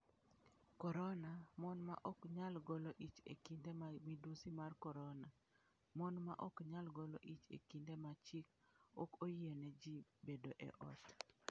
Korona: Mon ma ok nyal golo ich e kinde ma midusi mar korona: Mon ma ok nyal golo ich e kinde ma chik ok oyiene ji bedo e ot .